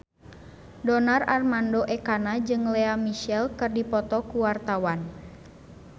Donar Armando Ekana jeung Lea Michele keur dipoto ku wartawan